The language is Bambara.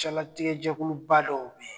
Cɛlatigɛ jɛkuluba dɔw be